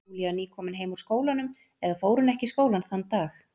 Júlía nýkomin heim úr skólanum, eða fór hún ekki í skólann þann dag?